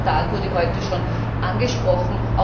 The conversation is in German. Der Libor Skandal wurde heute schon angesprochen.